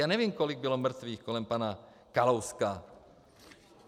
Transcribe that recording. Já nevím, kolik bylo mrtvých kolem pana Kalouska.